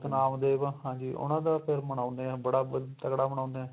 ਨਾਮ ਦੇਵ ਹਾਂਜੀ ਉਹਨਾ ਦਾ ਫ਼ਿਰ ਮਨਾਂਉਂਦੇ ਆ ਬੜਾ ਤਗੜਾ ਮਨਾਉਂਦੇ ਏ